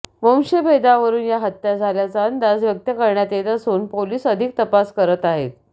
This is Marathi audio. वंशभेदावरून या हत्या झाल्याचा अंदाज व्यक्त करण्यात येत असून पोलीस अधिक तपास करत आहेत